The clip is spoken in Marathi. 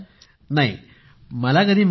नाही मला कधी मिळाली नाही